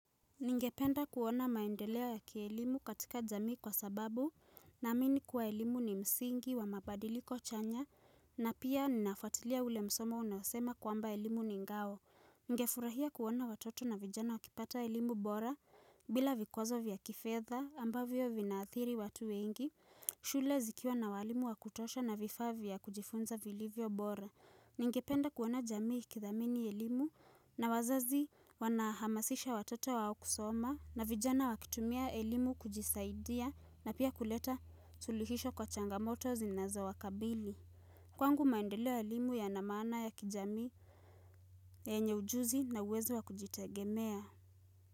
Ningependa kuona maendeleo ya kielimu katika jamii kwa sababu naamini kuwa elimu ni msingi wa mabadiliko chanya na pia ninafuatilia ule msemo unasema kwamba elimu ni ngao. Ningefurahia kuona watoto na vijana wakipata elimu bora bila vikwazo vya kifedha ambavyo vinaathiri watu wengi. Shule zikiwa na walimu wa kutosha na vifaa vya kujifunza vilivyo bora. Ningependa kuona jamii ikithamini elimu na wazazi wanahamasisha watoto wao kusoma na vijana wakitumia elimu kujisaidia na pia kuleta suluhisho kwa changamoto zinazowakabili Kwangu maendeleo ya elimu yana maana ya kijamii yenye ujuzi na uwezo wa kujitegemea.